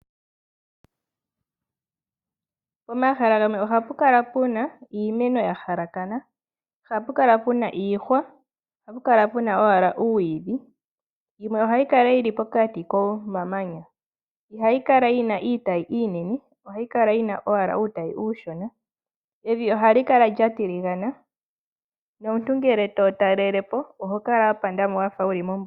Pomahala gamwe ohapu kalapuna iimeno yahala ka na . Ohapu kala puna iihwa , ohapu kala puna owala puna uumwidhi , yo yimwe ohayi kala yili pokati komamanya . Ihayi kala yina iitayi iinene ohayi kala yina owala uutayi uushona. Evi ohali kala lyatiligana nomuntu ngele to talelapo oho kala wapandamo mombuga.